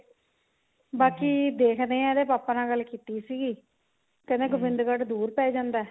ਬਾਕੀ ਦੇਖਦੇ ਹਾਂ ਇਹਦੇ papa ਨਾਲ ਗੱਲ ਕੀਤੀ ਸੀਗੀ ਕਹਿੰਦੇ ਗੋਬਿੰਦਗੜ ਦੂਰ ਪੈ ਜਾਂਦਾ